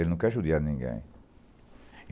Ele não quer judiar de ninguém.